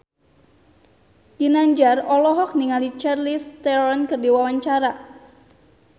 Ginanjar olohok ningali Charlize Theron keur diwawancara